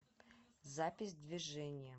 запись движение